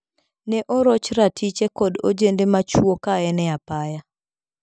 Ne oroch ratiche kod ojende ma chwo kaen epaya.